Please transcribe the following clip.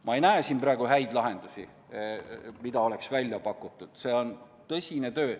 Ma ei näe siin praegu häid lahendusi, mis oleks välja pakutud, see on tõsine töö.